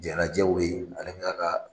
Jaa lajɛw bɛ ye ale kan ka